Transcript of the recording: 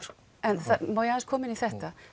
en má ég aðeins koma inn í þetta